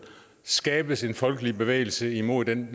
skabes en folkelig bevægelse imod den